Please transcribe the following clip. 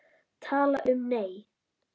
Tala um, nei!